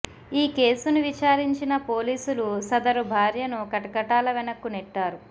ఈ కేసును విచారించిన పోలీసులు సదరు భార్యను కటకటాల వెనక్కు నెట్టారు